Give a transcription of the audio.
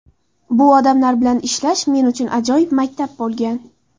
Bu odamlar bilan ishlash men uchun ajoyib maktab bo‘lgan.